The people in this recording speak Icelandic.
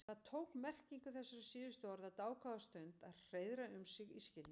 Það tók merkingu þessara síðustu orða dágóða stund að hreiðra um sig í skilningi Lóu.